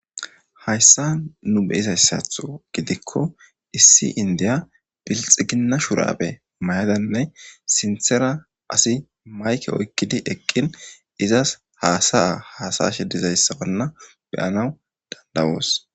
hayssa nu beyizayssatho gidikko issi indiya pilxiginna shuraaphe mayadanne sinthera asi mayke oykkidi eqqin izas haasaya hasashe dizayssabanna beyanaw dandawoos